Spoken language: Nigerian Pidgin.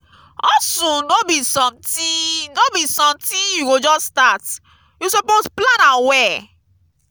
hustle no be sometin no be sometin you go just start you suppose plan am well.